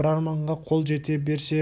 бір арманға қол жете берсе